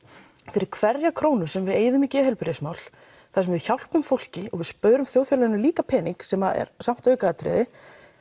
fyrir hverja krónu sem við eyðum í geðheilbrigðismál þar sem við hjálpum fólki og við spörum þjóðfélaginu líka pening sem er samt aukaatriði